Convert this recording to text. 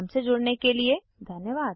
हमसे जुड़ने के लिए धन्यवाद